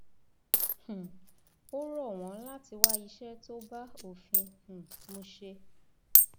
um ó rọ wọn láti wá iṣẹ tó bá òfin um mu ṣe